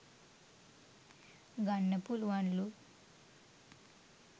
ගන්න පුළුවන්ලු.